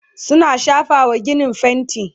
suna shafawa ginin fainti